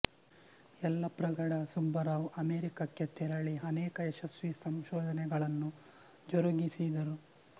ಯಲ್ಲಪ್ರಗಡ ಸುಬ್ಬರಾವ್ ಅಮೆರಿಕಕ್ಕೆ ತೆರಳಿ ಅನೇಕ ಯಶಸ್ವಿ ಸಂಶೋಧನೆಗಳನ್ನು ಜರುಗಿಸಿದರು